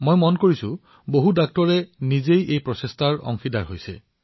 মই দেখিছো যে আমাৰ বহুতো চিকিৎসকে নিজেই এই দায়িত্ব গ্ৰহণ কৰি আছে